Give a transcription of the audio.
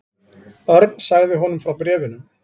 Örn sagði honum frá bréfunum.